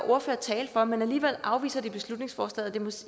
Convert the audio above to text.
ordførere tale for men alligevel afviser de beslutningsforslaget og